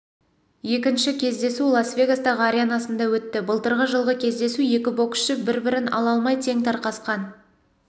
екінші кездесу лас вегастағыі аренасында өтті былтырғы жылғы кездесу екі боксшы бір-бірін ала алмай тең тарқасқан